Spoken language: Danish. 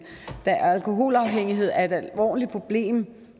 da alkoholafhængighed er et alvorligt problem